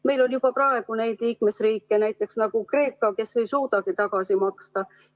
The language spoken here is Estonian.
Meil on juba praegu neid liikmesriike, näiteks nagu Kreeka, kes ei suudagi seda raha tagasi maksta.